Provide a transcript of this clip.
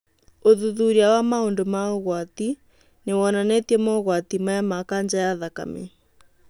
Ũthuthuria wa maũndũ ma ũgwati nĩ wonanĩtie mogwari maya ma kanja ya thakame